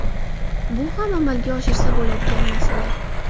Bu ham amalga oshirsa bo‘ladigan masala.